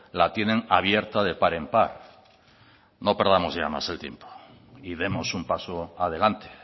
la tienen abierta de par en par no perdamos ya más el tiempo y demos un paso adelante